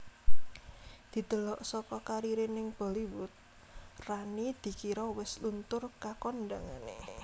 Didelok saka kariré ning Bollywood Rani dikira wis luntur kakondhangané